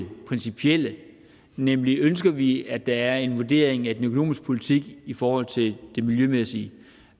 principielle nemlig ønsker vi at der er en vurdering af den økonomiske politik i forhold til den miljømæssige